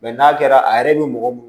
n'a kɛra a yɛrɛ bɛ mɔgɔ